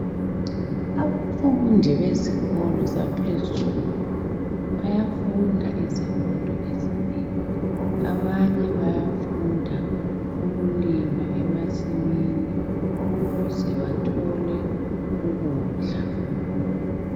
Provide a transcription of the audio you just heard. Abafundi bezikolo zaphezulu bayafunda izifundo ezinengi abanye bayafunda ukulima emasimini ukuze bathole ukudla.